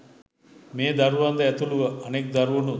මේ දරුවන්ද ඇතුළුව අනෙක් දරුවනුත්